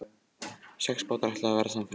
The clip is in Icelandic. Sex bátar ætluðu að verða samferða.